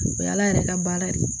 O y'ala yɛrɛ ka baara ye